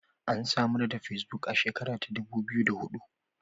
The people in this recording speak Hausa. Ansamarda fesbuk a shekara ta dubu biyu da hudu.